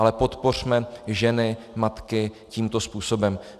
Ale podpořme ženy matky tímto způsobem.